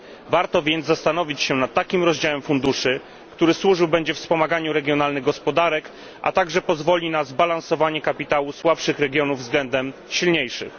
Warto więc zastanowić się nad takim rozdziałem funduszy, który służył będzie wspomaganiu regionalnych gospodarek, a także pozwoli na zbilansowanie kapitału słabszych regionów względem silniejszych.